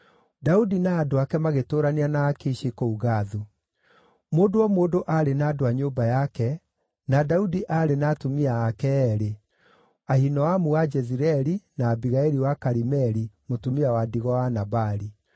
Daudi na andũ ake magĩtũũrania na Akishi kũu Gathu. Mũndũ o mũndũ aarĩ na andũ a nyũmba yake, na Daudi aarĩ na atumia ake eerĩ: Ahinoamu wa Jezireeli, na Abigaili wa Karimeli, mũtumia wa ndigwa wa Nabali.